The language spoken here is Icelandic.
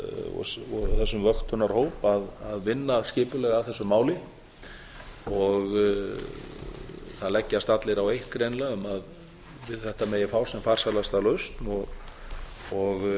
og þessum vöktunarhóp að vinna skipulega að þessu máli það leggjast greinilega allir á eitt um að við þetta megi fá sem farsælasta lausn og